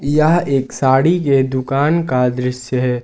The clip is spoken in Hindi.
यह एक साड़ी के दुकान का दृश्य है।